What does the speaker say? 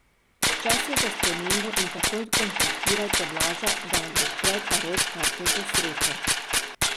Čas je za spremembo in takoj kontaktirajte Blaža da vam odpre Tarot karte za srečo.